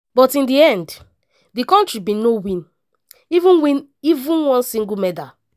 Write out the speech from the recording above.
but in di end di kontri bin no win even win even one single medal.